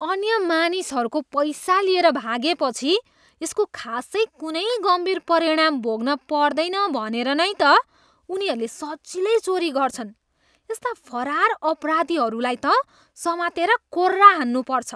अन्य मानिसहरूको पैसा लिएर भागेपछि यसको खासै कुनै गम्भीर परिणाम भोग्न पर्दैन भनेर नै त उनीहरूले सजिलै चोरी गर्छन्। यस्ता फरार अपराधीहरूलाई त समातेर कोर्रा हान्नुपर्छ।